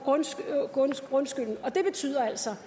grundskylden og det betyder altså